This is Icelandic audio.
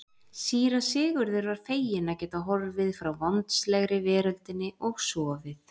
Síra Sigurður var feginn að geta horfið frá vondslegri veröldinni og sofið.